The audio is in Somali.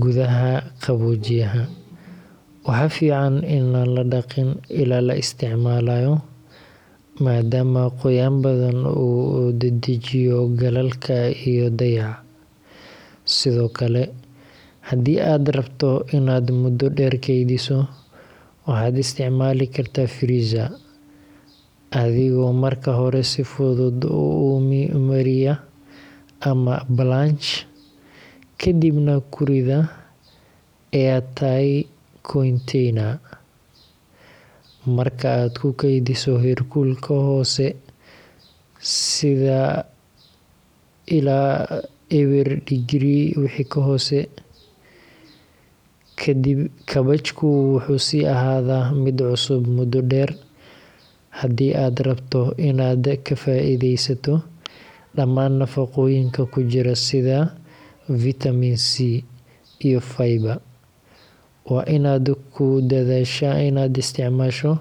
gudaha qaboojiyaha, waxa fican ini ladhaqin ilai la isticmaalayo maadama qoyan badan uu dedejiyo galalka iyo dacaya, sidokale hadii ad rabto inad mudo dheer keydiso waxad isticmaali karta freezer adigo marka hore si fudud umariya ama balanj kadib dab kuruda airtile container[cs[markad kukeydiso herkulka hoose illa eber degree wixi kahose kadib kabejku wuxuu si ahada mid si cusub mudo dheer, hadii ad rabto inad ka faa'iideysato dhamaan nafaqoyinka kujira sida vitamin c and viber waa inad kudadasha ina isticmaasho